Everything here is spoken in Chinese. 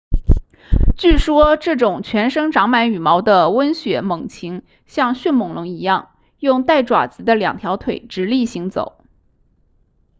据说这种全身长满羽毛的温血猛禽像迅猛龙一样用带爪子的两条腿直立行走